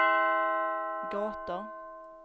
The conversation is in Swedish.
gator